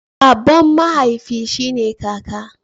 Baban mahaifi shi ne kaka.